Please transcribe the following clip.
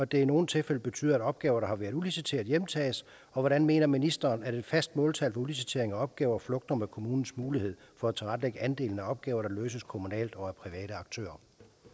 det i nogle tilfælde betyder at opgaver der har været udliciteret hjemtages og hvordan mener ministeren at et fast måltal for udlicitering af opgaver flugter med kommunens mulighed for at tilrettelægge andelen af opgaver der løses kommunalt og af private aktører